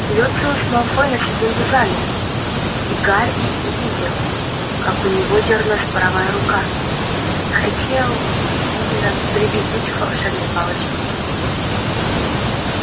люциус малфой на секунду замер и гарри увидел как у него дёрнулась правая рука хотел видно прибегнуть к волшебной палочке